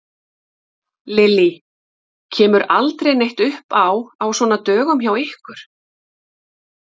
Lillý: Kemur aldrei neitt upp á á svona dögum hjá ykkur?